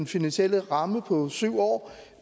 finansielle ramme for syv år